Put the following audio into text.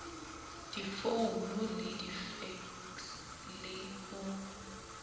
difounu le difekse le ho